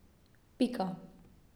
Pika.